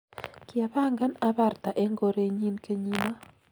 kiapangan abarta eng korenyin kenyino